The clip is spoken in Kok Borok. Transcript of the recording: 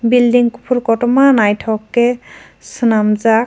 building kufur kotorma nythok ke swnamjaak.